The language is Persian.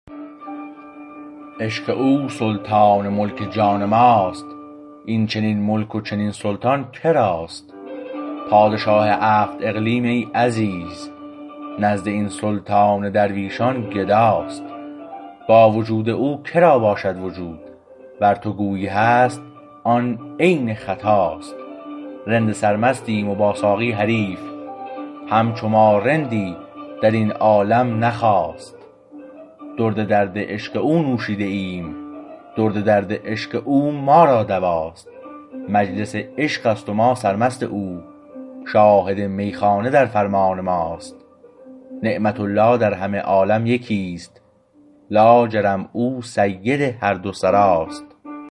عشق او سلطان ملک جان ماست اینچنین ملک و چنین سلطان کراست پادشاه هفت اقلیم ای عزیز نزد این سلطان درویشان گداست با وجود او کرا باشد وجود ور تو گویی هست آن عین خطاست رند سر مستیم و با ساقی حریف همچو ما رندی در این عالم نخاست درد درد عشق او نوشیده ایم درد درد عشق او ما را دواست مجلس عشقشت و ما سرمست او شاهد میخانه در فرمان ماست نعمت الله در همه عالم یکیست لاجرم او سید هر دو سراست